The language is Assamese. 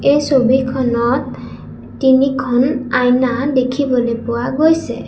এই ছবিখনত তিনিখন আইনা দেখিবলৈ পোৱা গৈছে।